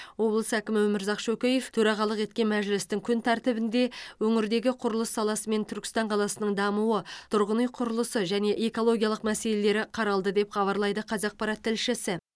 облыс әкімі өмірзақ шөкеев төрағалық еткен мәжілістің күн тәртібінде өңірдегі құрылыс саласы мен түркістан қаласының дамуы тұрғын үй құрылысы және экологиялық мәселелер қаралды деп хабарлайды қазақпарат тілшісі